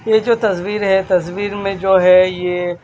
ये जो तस्वीर है तस्वीर में जो है ये--